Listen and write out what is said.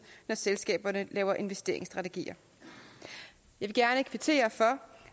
når selskaberne laver investeringsstrategier jeg vil gerne kvittere for